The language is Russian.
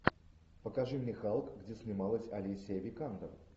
покажи мне халк где снималась алисия викандер